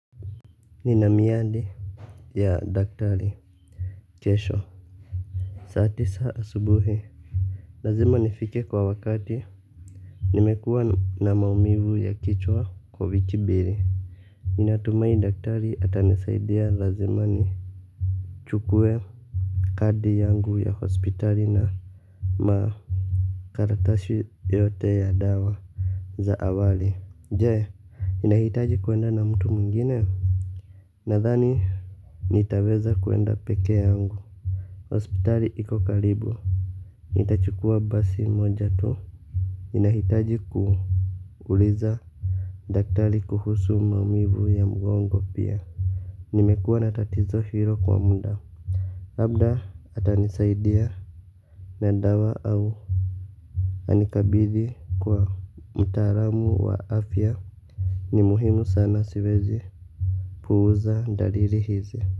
Nina miadi ya daktari. Kesho saa tisa asubuhi. Lazima nifike kwa wakati. Nimekuwa na maumivu ya kichwa kwa wiki mbili. Ninatumai daktari atanisaidia lazima ni Chukue Kadi yangu ya hospitali na makaratasi yote ya dawa za awali. Je ninahitaji kuenda na mtu mwingine. Nadhani nitaweza kuenda pekee yangu. Hospitali iko karibu nitachukua basi moja tu ninahitaji kuuliza daktari kuhusu maumivu ya mgongo pia. Nimekuwa na tatizo hilo kwa muda. Labda ata nisaidia. Na dawa au anikabidhi kwa mtaalamu wa afya. Ni muhimu sana siwezi. Puuza dalili hizi.